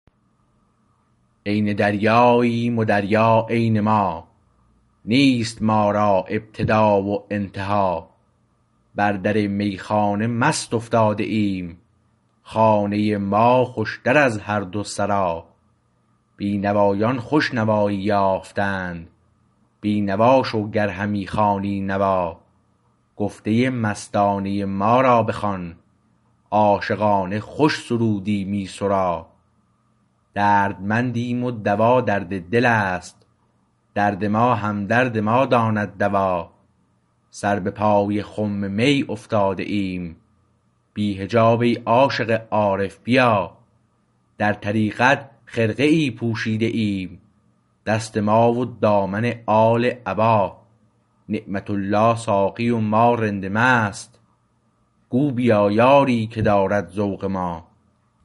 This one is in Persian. عین دریاییم و دریا عین ما نیست ما را ابتدا و انتها بر در میخانه مست افتاده ایم خانه ما خوشتر از هر دو سرا بینوایان خوش نوایی یافتند بینوا شو گر همی خوانی نوا گفته مستانه ما را بخوان عاشقانه خوش سرودی می سرا دردمندیم و دوا درد دلست درد ما همدرد ما داند دوا سر به پای خم می افتاده ایم بی حجاب ای عاشق عارف بیا در طریقت خرقه ای پوشیده ایم دست ما و دامن آل عبا نعمت الله ساقی و ما رند و مست گو بیا یاری که دارد ذوق ما